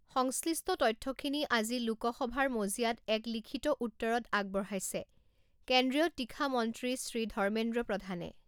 সংশ্লিষ্ট তথ্যখিনি আজি লোকসবাৰ মঁজিয়াত এক লিখিত উত্তৰত আগবঢ়াইছে কেন্দ্ৰীয় তীখা মন্ত্ৰী শ্ৰী ধৰ্মেন্দ্ৰ প্ৰধানে।